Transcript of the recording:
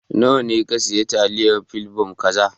Nawa ne ka siya taliyar plebon kaza